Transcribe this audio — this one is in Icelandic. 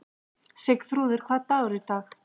Sigþrúður, hvaða dagur er í dag?